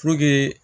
Puruke